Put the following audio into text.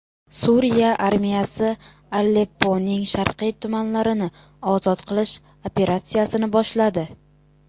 Suriya armiyasi Alepponing sharqiy tumanlarini ozod qilish operatsiyasini boshladi.